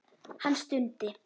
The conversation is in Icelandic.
Hann stundi.